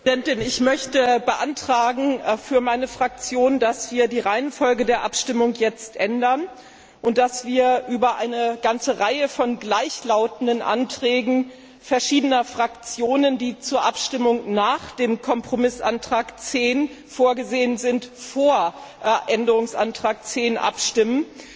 Frau Präsidentin! Ich möchte für meine Fraktion beantragen, dass wir die Reihenfolge der Abstimmung jetzt ändern, und dass wir über eine ganze Reihe von gleichlautenden Anträgen verschiedener Fraktionen, die zur Abstimmung nach dem Kompromissantrag 10 vorgesehen sind, vor Änderungsantrag 10 abstimmen.